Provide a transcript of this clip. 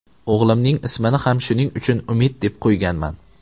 O‘g‘limning ismini ham shuning uchun Umid deb qo‘yganman.